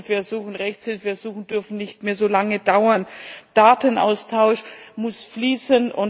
Amtshilfeersuchen, Rechtshilfeersuchen dürfen nicht mehr so lange dauern, der Datenaustausch muss fließen.